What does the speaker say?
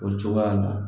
O cogoya in na